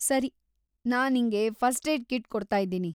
ಸರಿ, ನಾನ್‌ ನಿಂಗೆ ಫಸ್ಟ್‌-ಏಡ್‌ ಕಿಟ್‌ ಕೊಡ್ತಾಯಿದ್ದೀನಿ.